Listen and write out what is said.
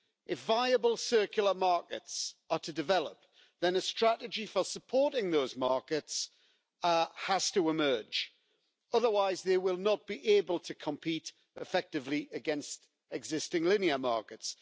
If viable circular markets are to develop, then a strategy for supporting those markets has to emerge, otherwise they will not be able to compete effectively against existing linear markets.